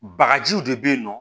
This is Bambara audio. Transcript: Bagajiw de bɛ yen nɔ